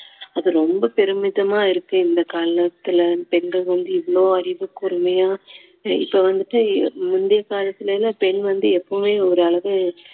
அது ரொம்ப பெருமிதமா இருக்கு இந்த காலத்துல பெண்கள் வந்து இவ்ளோ அறிவு கூர்மையா இப்போ வந்துட்டு முந்தைய காலத்துல எல்லாம் பெண் வந்து எப்பவுமே ஒரு அளவு